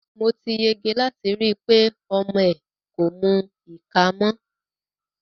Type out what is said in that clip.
Mo ti yege láti rí i pé ọmọ ẹ kò mu ìka mọ́.